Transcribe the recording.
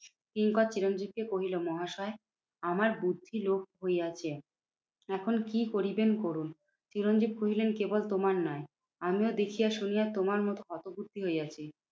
কিঙ্কর চিরঞ্জিতকে কহিল মহাশয়, আমার বুদ্ধি লোপ হইয়াছে। এখন কি করিবেন করুন? চিরঞ্জিত কহিলেন, কেবল তোমার নয় আমিও দেখিয়া শুনিয়া তোমার মতো হতবুদ্ধি হইয়াছি।